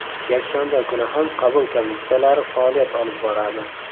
Yakshanba kuni ham qabul komissiyalari faoliyat olib boradi.